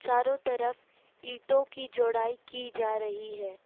चारों तरफ ईटों की जोड़ाई की जा रही है।